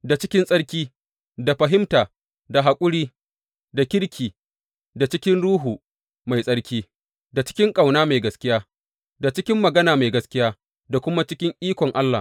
Da cikin tsarki, da fahimta, da haƙuri, da kirki, da cikin Ruhu Mai Tsarki, da cikin ƙauna mai gaskiya, da cikin magana mai gaskiya, da kuma cikin ikon Allah.